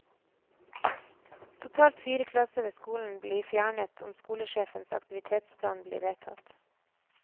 Totalt fire klasser ved skolen blir fjernet om skolesjefens aktivitetsplan blir vedtatt.